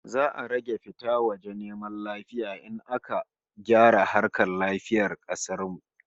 Za'a rage fita waje neman lafiya in aka gyara harkar lafiyar kasar mu